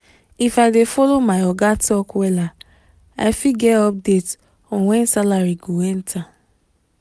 if i dey follow my oga talk wella i fit get update on when salary go enter.